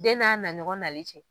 Den n'a naɲɔgɔn nali cɛ